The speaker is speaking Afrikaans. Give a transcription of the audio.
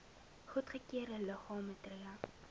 goedgekeurde liggame tree